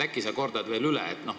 Äkki sa kordad veel üle?